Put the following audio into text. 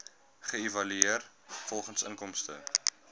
geëvalueer volgens inkomste